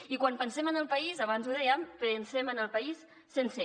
i quan pensem en el país abans ho dèiem pensem en el país sencer